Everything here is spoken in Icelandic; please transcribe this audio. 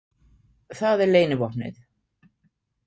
Það er leynivopnið.